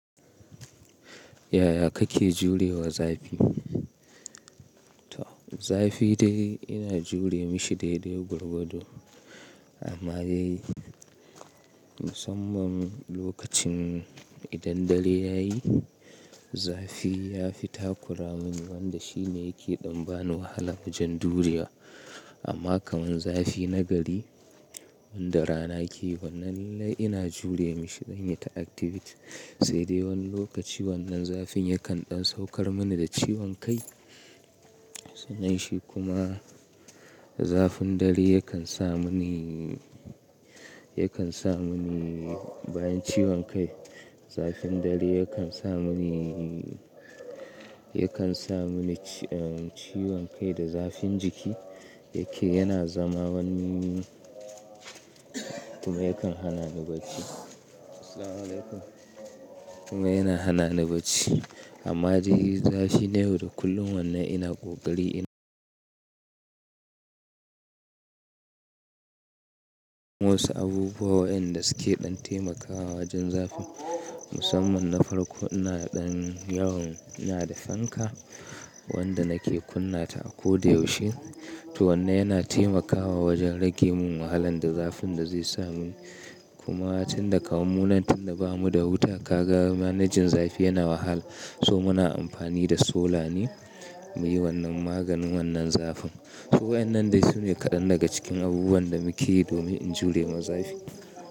Yaya kake jurewa zafi? Zafi dai ina jure mishi dai dai gwargwado. Amma dai musamman lokacin idan dare yayi zafi ya fi takura mun wanda shine yake ɗan bani wahala wajen duriya. Amma kaman zafi na gari wanda rana ke yi wannan nai ina jure mishi dai na yi ta activity. Sai dai wani lokaci wannan zafin yakan ɗan saukar mani da ciwon kai. Sannan shi kuma zafin dare yakan sa mini, yakan sa mini bayan ciwon kai. Zafin dare yakan sa mini, yakan sa mini ciwon kai da zafin jiki yake yana zama wani kuma yakan hana ni bacci. Kuma yana hana ni bacci. Amma dai zafi na yau da kullum wannan ina kokari ina. Wasu abubuwa waɗanda suke ɗan taimakawa wajen zafi musamman na farko ina ɗan yawan ina da fanka wanda nake kunna ta a ko da yaushe. To wannan yana taimakawa wajen rage mun wahalan da zafin da zai sa mun. Kuma tun da kaman mu nan tunda ba mu da wuta ka ga manajin zafi yana wahala. So muna amfani da solane muyi wannan maganin wannan zafin. To wayannan dai sune kaɗan daga cikin abubuwan da muke yi domin in jure ma zafi.